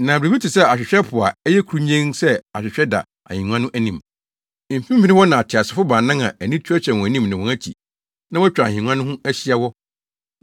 Na biribi te sɛ ahwehwɛ po a ɛyɛ kurunnyenn sɛ ahwehwɛ da ahengua no anim. Mfimfini hɔ na ateasefo baanan a ani tuatua wɔn anim ne wɔn akyi na wɔatwa ahengua no ho ahyia wɔ.